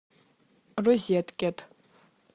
розеткед